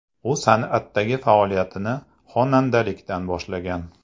U san’atdagi faoliyatini xonandalikdan boshlagan.